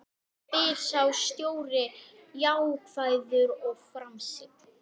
spyr sá stóri jákvæður og framsýnn.